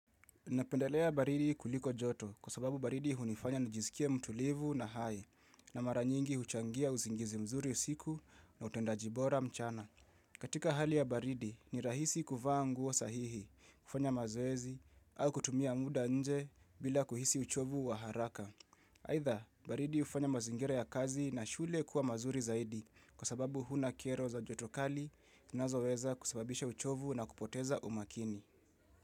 Napendelea baridi kuliko joto kwa sababu baridi hunifanya nijisikie mtulivu na hai na mara nyingi uchangia usingizi mzuri usiku na utendaji bora mchana. Katika hali ya baridi ni rahisi kuvaa nguo sahihi, kufanya mazoezi au kutumia muda nje bila kuhisi uchovu wa haraka. Aidha, baridi hufanya mazingira ya kazi na shule kuwa mazuri zaidi kwa sababu huna kero za joto kali nazoeza kusababisha uchovu na kupoteza umakini.